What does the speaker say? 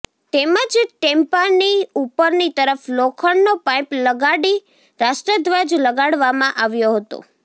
તેમજ ટેમ્પાની ઉપરની તરફ લોખંડનો પાઈપ લગાડી રાષ્ટ્રધ્વજ લગાડવામાં આવ્યો હતો